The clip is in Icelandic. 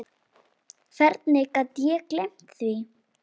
Hvernig gat ég gleymt því?